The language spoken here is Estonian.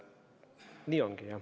Nii ongi.